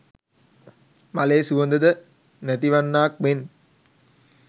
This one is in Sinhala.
මලේ සුවඳ ද නැතිවන්නාක් මෙන්